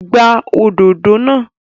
Gbá òdodo náà!